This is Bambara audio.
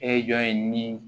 E jɔn ye nin